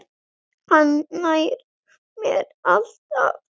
Hann nær mér alltaf!